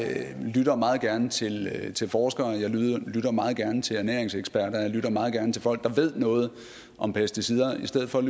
lytter meget gerne til til forskere og jeg lytter meget gerne til ernæringseksperter og jeg lytter meget gerne til folk der ved noget om pesticider i stedet for at